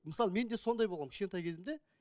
мысалы мен де сондай болғанмын кішкентай кезімде